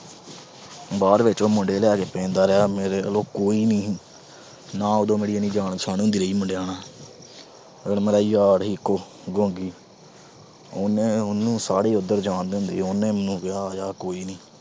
ਬਾਹਰ ਬੈਠੇ ਉਹ ਮੁੰਡੇ ਲਿਆ ਕੇ ਪੈਂਦਾ ਰਿਹਾ, ਮੇਰੇ ਵੱਲੋਂ ਕੋਈ ਨੀ, ਨਾ ਮੇਰੀ ਉਦੋਂ ਇੰਨੀ ਜਾਣ ਪਛਾਣ ਹੁੰਦੀ ਸੀਗੀ ਮੁੰਡਿਆਂ ਨਾਲ। ਫਿਰ ਮੇਰਾ ਯਾਰ ਆ ਇੱਕੋ ਗੌਂਗੀ। ਉਹਨੇ ਅਹ ਉਹਨੂੰ ਸਾਰੇ ਈ ਉਧਰ ਜਾਣਦੇ ਹੁੰਦੇ ਸੀਗੇ, ਉਹਨੇ ਮੈਨੂੰ ਕਿਹਾ ਯਾਰ ਕੋਈ ਨੀ